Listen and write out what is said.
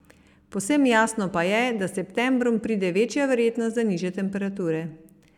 Povsem jasno pa je, da s septembrom pride večja verjetnost za nižje temperature.